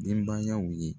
Denbayaw ye